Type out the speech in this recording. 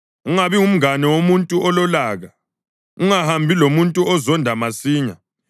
Ungabi ngumngane womuntu ololaka, ungahambi lomuntu ozonda masinyane,